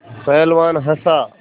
पहलवान हँसा